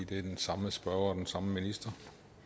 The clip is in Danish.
det er den samme spørger og den samme minister